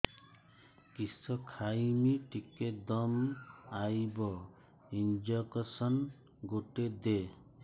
କିସ ଖାଇମି ଟିକେ ଦମ୍ଭ ଆଇବ ଇଞ୍ଜେକସନ ଗୁଟେ ଦେ